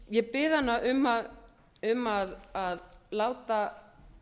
ég bið hana um að láta